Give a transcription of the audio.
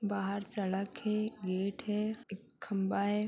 बाहर सड़क है गेट है एक खम्भा है |